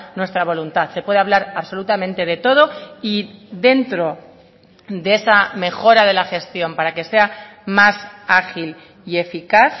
nuestra voluntad se puede hablar absolutamente de todo y dentro de esa mejora de la gestión para que sea más ágil y eficaz